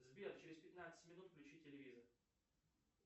сбер через пятнадцать минут включи телевизор